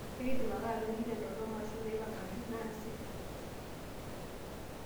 ekidim ake atoliki te doropo mashon naipangangi naasi